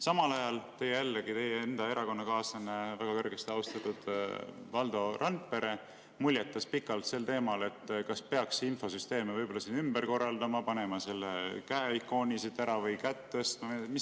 Samal ajal teie enda erakonnakaaslane, väga kõrgesti austatud Valdo Randpere muljetas pikalt sel teemal, kas peaks siinseid infosüsteeme võib-olla ümber korraldama, võtma selle käeikooni siit ära kätt tõstma.